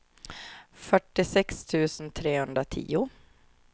fyrtiosex tusen trehundratio